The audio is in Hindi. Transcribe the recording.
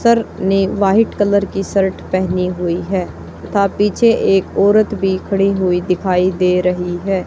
सर ने व्हाइट कलर की शर्ट पहनी हुई है तथा पीछे एक औरत भी खड़ी हुई दिखाई दे रही है।